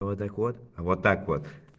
вот так вот вот так вот